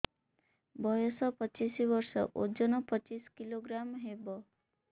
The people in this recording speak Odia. ବୟସ ପଚିଶ ବର୍ଷ ଓଜନ ପଚିଶ କିଲୋଗ୍ରାମସ ହବ